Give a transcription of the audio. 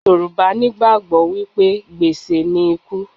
Yorùbá nigbàgbọ́ wípé gbèsè ni ikú.